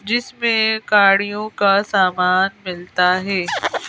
जिसमें काढ़ियों का सामान मिलता है।